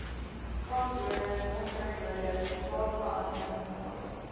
swamdoders onkruiddoders saadbehandelingsmiddels